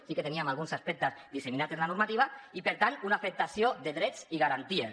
sí que teníem alguns aspectes disseminats en la normativa i per tant una afectació de drets i garanties